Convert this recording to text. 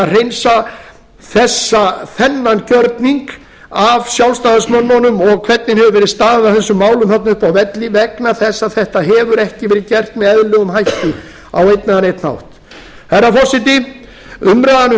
að hreinsa þennan gjörning af sjálfstæðismönnunum og hvernig hefur verið staðið að þessum málum uppi á velli vegna þess að þetta ekki verið gert með eðlilegum hætti á einn eða neinn hátt herra forseti umræðan um